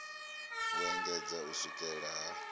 u engedzedza u swikela ha